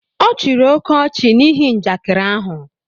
Ọ chịrị oke ọchị n'ihi njakịrị ahu